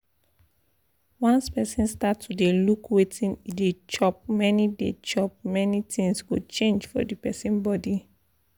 once person start to dey look wetin e dey chop many dey chop many things go change for the person body